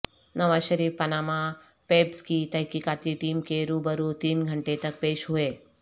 نواز Sharif Panama Papers کی تحقیقاتی team کے روبرو تین گھنٹے تک پیش ہوئے